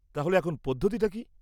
-তাহলে এখন পদ্ধতিটা কী?